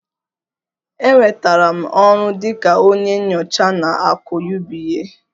Enwetara m ọrụ dị ka onye nyocha na AKỤ UBA